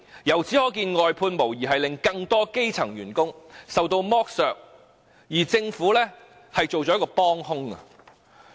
由此可見，外判制度無疑令更多基層員工受到剝削，而政府則成為幫兇。